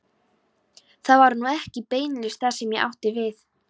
Það var nú ekki beinlínis það sem ég átti við.